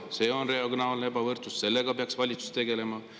See on regionaalne ebavõrdsus, sellega peaks valitsus tegelema.